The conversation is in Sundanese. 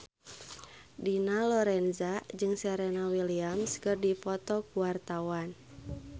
Dina Lorenza jeung Serena Williams keur dipoto ku wartawan